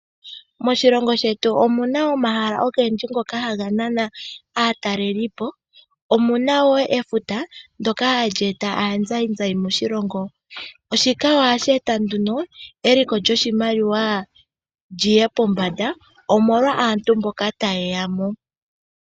Moshilongo shetu omuna omahala ogendji ngoka haga nana aatalelipo. Omuna efuta ndoka hali eta aanzainzai moshilongo shika ohashi eta nduno eliko lyoshimaliwa lyiye pombanda omolwa aantu mboka tayeya mo.